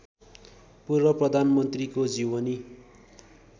पूर्व प्रधानमन्त्रीको जीवनी